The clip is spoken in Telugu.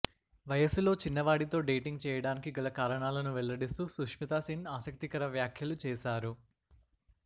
వయస్సులో చిన్నవాడితో డేటింగ్ చేయడానికి గల కారణాలను వెల్లడిస్తూ సుస్మితా సేన్ ఆసక్తి కర వ్యాఖ్యలు చేశారు